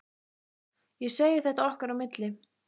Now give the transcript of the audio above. Ég segi þér þetta okkar á milli